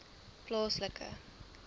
plaaslike